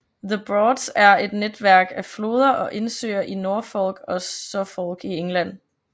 The Broads er et netværk af floder og indsøer i Norfolk og Suffolk i England